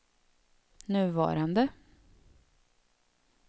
nuvarande